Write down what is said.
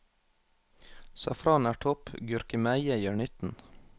Safran er topp, gurkemeie gjør nytten.